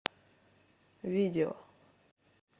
видео